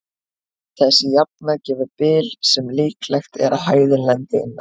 Þessi jafna gefur bil sem líklegt er að hæðin lendi innan.